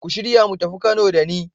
Ku shirya mu tafi Kano da ni.